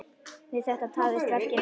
Við þetta tafðist verkið nokkuð.